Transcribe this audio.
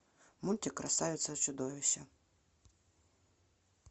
мультик красавица и чудовище